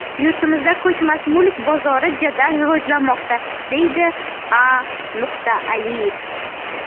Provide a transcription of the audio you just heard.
Yurtimizda ko‘chmas mulk bozori jadal rivojlanmoqda, deydi A. Aliyev.